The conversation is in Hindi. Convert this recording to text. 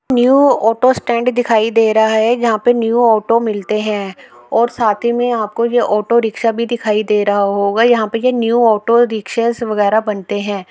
न्यू ऑटो स्टैन्ड दिखाई दे रहा है जहाँ पे न्यू ऑटो मिलते हैं और साथ ही में आपको ये ऑटो रिक्शा दिखाई दे रहा होगा यहाँ पे ये न्यू ऑटो रिक्शास वगैरा बनते हैं।